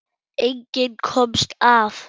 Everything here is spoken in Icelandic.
Enginn komst af.